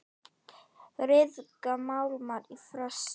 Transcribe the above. Ryðga málmar í frosti?